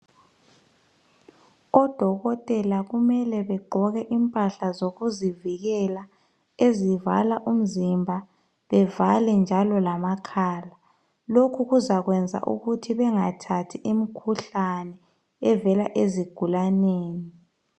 ODokotela kumele begqoke impahla zokuzivikela ezivala umzimba bevale njalo lamakhala. Lokhu kuzakwenza ukuthi bengathathi imkhuhlane evela ezigulaneni.